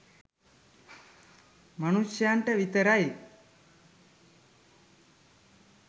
මනුෂ්‍යයන්ට විතරයි.